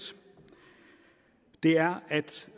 det er